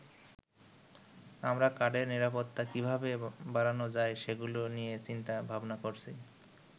আমরা কার্ডের নিরাপত্তা কিভাবে বাড়ানো যায় সেগুলো নিয়ে চিন্তা ভাবনা করছি।